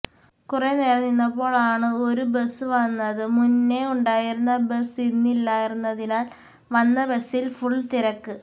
കുറെ നേരം നിന്നപ്പോളാണ് ഒരു ബസ് വന്നത് മുന്നേ ഉണ്ടായിരുന്ന ബസ് ഇന്നില്ലായിരുന്നതിനാൽ വന്ന ബസിൽ ഫുൾ തിരക്ക്